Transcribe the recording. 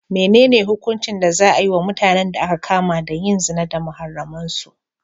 Menene hukuncin da za a yi wa mutanen da aka kama da yin zina da muharraman su?